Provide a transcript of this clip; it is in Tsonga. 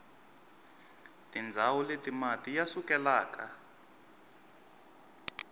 tindzawu leti mati ya sukelaka